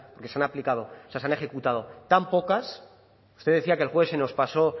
se han aplicado o sea se han ejecutado tan pocas usted decía que el juez se nos pasó